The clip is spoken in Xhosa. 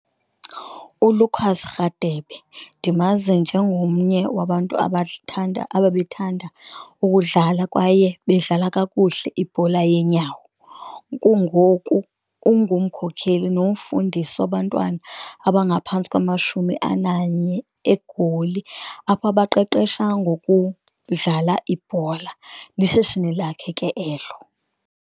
ULucas Rhadebe ndimazi njengomnye wabantu abathanda ababethanda ukudlala kwaye bedlala kakuhle ibhola yeenyawo, kungoku ungumkhokheli nomfundisi wabantwana abangaphantsi kwamashumi ananye eGoli apho abaqeqeshwa ngokudlala ibhola, lishishini lakhe ke elo.